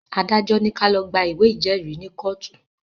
Adájọ́ ní ká lọ̀ gba ìwé ìjẹ́rìí ni kọ́ọ̀tù